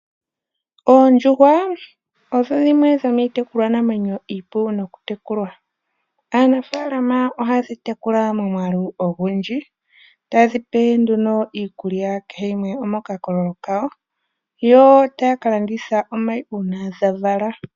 Oondjuhwa odho dhimwe dhomiitekulwanamwenyo iipu nokutekulwa. Aanafaalama ohayedhi tekula momwaalu ogundji, tayedhi pe nduno iikulya kehe yimwe omokakololo kayo, yo tayaka landitha omayi uuna dha vala.